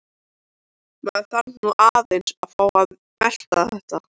Maður þarf nú aðeins að fá að melta þetta.